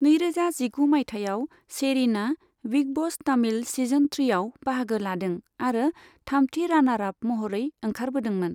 नैरोजा जिगु मायथाइयाव, शेरिनआ बिग ब'स तमिल सीजन थ्रिआव बाहागो लादों आरो थामथि रानार आप महरै ओंखारबोदोंमोन।